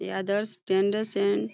ये Adarsh tenders and --